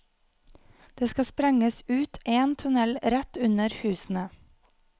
Det skal sprenges ut en tunnel rett under husene.